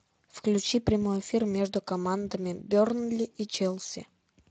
включи прямой эфир между командами бернли и челси